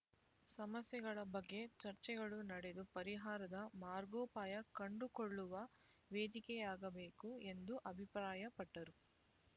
ಸಮಸ್ಯೆಗಳ ಬಗ್ಗೆ ಚರ್ಚೆಗಳು ನಡೆದು ಪರಿಹಾರದ ಮಾರ್ಗೋಪಾಯ ಕಂಡುಕೊಳ್ಳುವ ವೇದಿಕೆಯಾಗಬೇಕು ಎಂದು ಅಭಿಪ್ರಾಯಪಟ್ಟರು